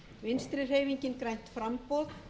vinstri hreyfingin grænt framboð